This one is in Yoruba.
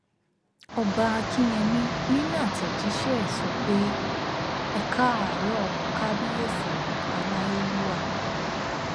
ọba akínyẹmí nínú àtẹjíṣẹ ẹ sọ pé e káàárọ kábíyèsí aláyélúwà